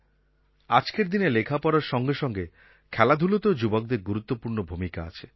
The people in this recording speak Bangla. আজকের দিনে লেখাপড়ার সঙ্গে সঙ্গে খেলাধুলাতেও যুবকদের গুরুত্বপূর্ণ ভূমিকা আছে